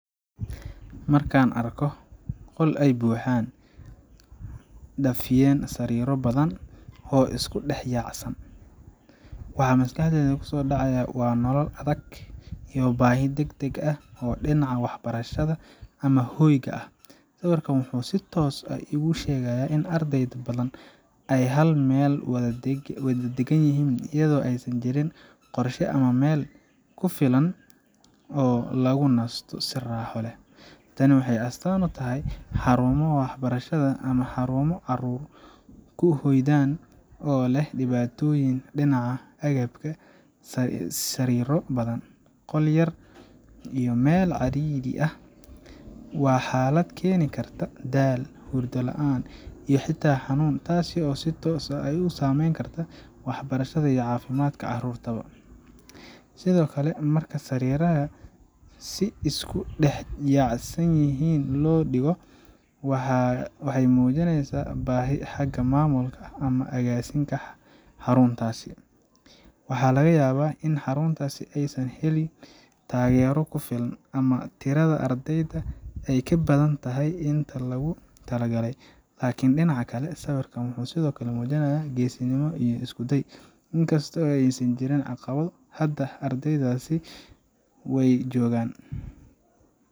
Markaan arko qol ay buux dhaafiyeen sariiro badan oo isku dhex yaacsan, waxa maskaxdayda ku soo dhaca waa nolol adag iyo baahi degdeg ah oo dhinaca waxbarashada ama hoyga ah. Sawirkan wuxuu si toos ah iigu sheegaa in arday badan ay hal meel wada deggan yihiin, iyadoo aysan jirin qorshe ama meel ku filan oo lagu nasto si raaxo leh. Tani waxay astaan u tahay xarumo waxbarasho ama xarumo caruur ku hoydaan oo leh dhibaatooyin dhinaca agabka ah sariiro badan, qol yar, iyo meel cidhiidhi ah. Waa xaalad keeni karta daal, hurdo la’aan, iyo xitaa xanuun, taas oo si toos ah u saameyn karta waxbarashada iyo caafimaadka carruurta. Sidoo kale, marka sariiraha si isku dhex yaacsan yihiin loo dhigo, waxay muujinaysaa baahi xagga maamulka ama agaasinka xaruntaas. Waxaa laga yaabaa in xarunta aysan helin taageero ku filan, ama tirada ardayda ay ka badan tahay inta lagu talagalay. Laakiin dhinaca kale, sawirkan wuxuu sidoo kale muujinayaa geesinimo iyo isku day. In kasta oo ay jiraan caqabado, haddana ardaydaasi way joogaan.